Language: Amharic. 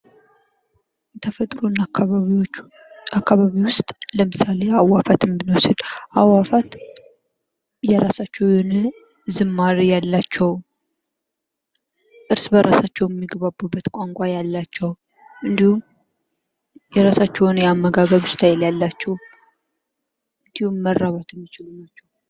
ተፈጥሮ እና አካባቢዎቹ አካባቢ ውስጥ ለምሳሌ የአዕዋፋትን ብንወድ፤ አዕዋፋት የራሳቸው የሆነ ዝማሬ ያላቸው ፣ እርስ በራሳችሁም የገቡበት ቋንቋ ያላቸው፣ እንዲሁም የራሳቸው የሆነ የአመጋገብ ስታይል ያላቸው ፣ እንዲሁም መራባት የሚችሉ ናቸው።